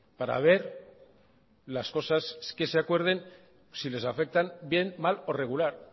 para ver las cosas que se acuerden si les afectan bien mal o regular